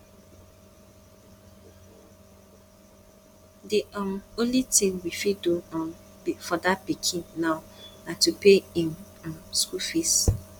the um only thing we fit do um for dat pikin now na to pay im um school fees